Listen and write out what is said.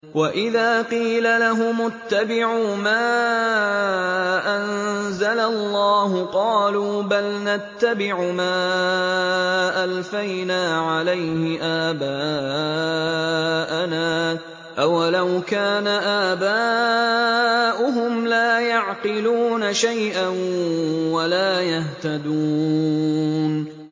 وَإِذَا قِيلَ لَهُمُ اتَّبِعُوا مَا أَنزَلَ اللَّهُ قَالُوا بَلْ نَتَّبِعُ مَا أَلْفَيْنَا عَلَيْهِ آبَاءَنَا ۗ أَوَلَوْ كَانَ آبَاؤُهُمْ لَا يَعْقِلُونَ شَيْئًا وَلَا يَهْتَدُونَ